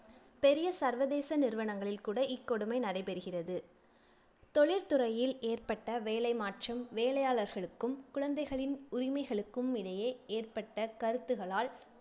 பெரிய சர்வதேச நிறுவனங்களில் கூட இக்கொடுமை நடைபெறுகிறது. தொழில்துறையில் ஏற்பட்ட வேலை மாற்றம், வேலையாளர்களுக்கும், குழந்தைகளின் உரிமைகளுக்கும் இடையே ஏற்பட்ட கருத்துகளால்